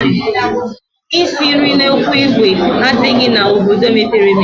Isi nri n'ekwu ìgwè adịghịzi n'obodo mepere emepe